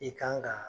I kan ka